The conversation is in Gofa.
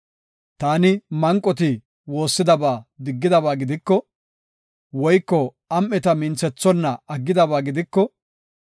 “Taani manqoti woossidaba diggidaba gidiko, woyko am7eta minthethonna aggidaba gidiko,